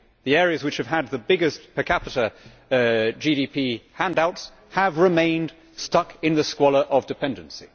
The areas which have had the biggest per capita GDP handouts have remained stuck in the squalor of dependency.